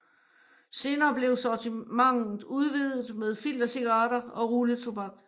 Senere blev sortimentet udvidet med filtercigaretter og rulletobak